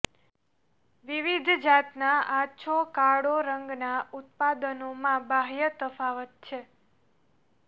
વિવિધ જાતનાં આછો કાળો રંગના ઉત્પાદનોમાં બાહ્ય તફાવત છે